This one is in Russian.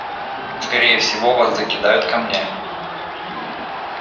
скорее всего вас закидают камнями